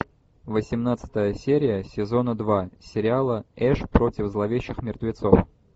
восемнадцатая серия сезона два сериала эш против зловещих мертвецов